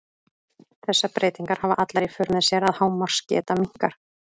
Þessar breytingar hafa allar í för með sér að hámarksgeta minnkar.